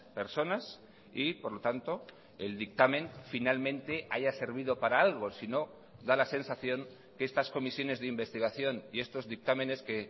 personas y por lo tanto el dictamen finalmente haya servido para algo si no da la sensación que estas comisiones de investigación y estos dictámenes que